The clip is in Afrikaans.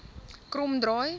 kromdraai